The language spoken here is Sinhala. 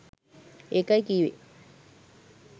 ඒකයි කිව්වේ